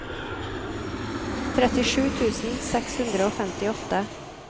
trettisju tusen seks hundre og femtiåtte